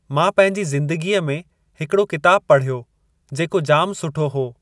मां पंहिंजी ज़िंदगीअ में हिकिड़ो किताबु पढ़यो जेको जाम सुठो हो।